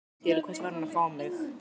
Til hvers var hann að fá mig?